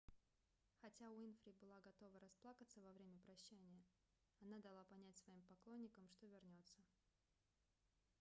хотя уинфри была готова расплакаться во время прощания она дала понять своим поклонникам что вернется